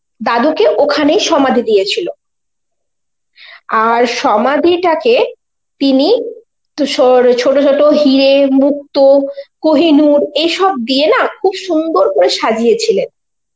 দাদু কে ওখানে সমাধি দিয়েছিল. আর সমাধি টা কে তিনি তুসোর~ ও ছোট ছোট হিরে, মুক্ত, কোহিনুর এইসব দিয়ে না খুব সুন্দর করে সাজিয়েছিলেন.